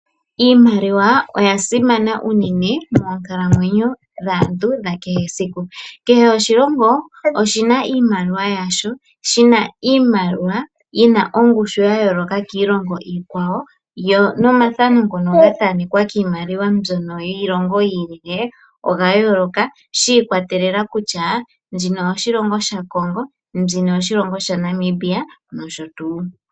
Iimaliwa oya simana unene moonkalamwenyo dhaantu dhakehe siku. Kehe oshilongo oshina iimaliwa yasho yina ongushu yayooloka kiilongo iikwawo. Nomathano ngono gathaanekwa kiimaliwa yi ili oya yooloka shi ikwatelela kutya mbino oyo shilongo shaKongo mbina oyaNamibia.